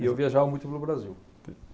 E eu viajava muito pelo Brasil.